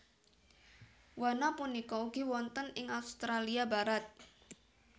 Wana punika ugi wonten ing Australia Barat